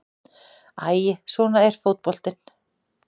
Æi, svona er fótboltinn.